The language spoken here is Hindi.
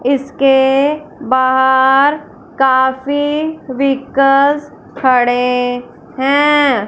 इसके बाहर काफी व्हीकल्स खड़े हैं।